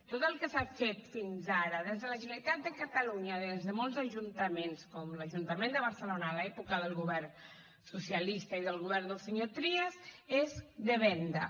tot el que s’ha fet fins ara des de la generalitat de catalunya des de molts ajuntaments com l’ajuntament de barcelona a l’època del govern socialista i del govern dels senyor trias és de venda